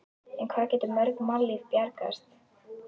En hvað gætu mörg mannslíf bjargast?